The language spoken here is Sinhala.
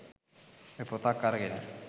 ඔය පොතක් අරගෙන